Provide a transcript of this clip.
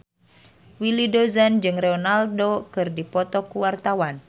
Willy Dozan jeung Ronaldo keur dipoto ku wartawan